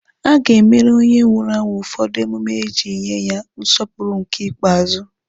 A ga-emere onye nwụrụ anwụ ụfọdụ emume iji nye ya nsọpụrụ ikpeazụ.